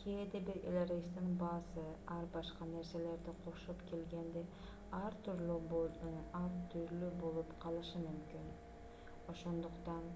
кээде бир эле рейстин баасы ар башка нерселерди кошуп келгенде ар түрлүү болуп калышы мүмкүн ошондуктан